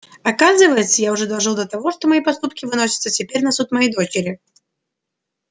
оказывается я уже дожил до того что мои поступки выносятся теперь на суд моей дочери